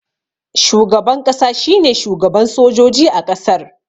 Shugaban ƙasa shine shugaban sojoji a ƙasar